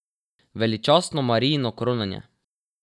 Veličastno Marijino kronanje!